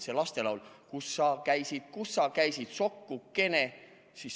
See lastelaul "Kus sa käisid, kus sa käisid, sokukene?